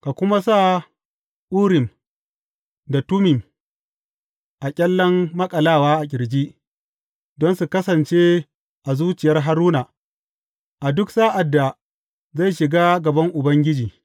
Ka kuma sa Urim da Tummim a ƙyallen maƙalawa a ƙirji, don su kasance a zuciyar Haruna, a duk sa’ad da zai shiga gaban Ubangiji.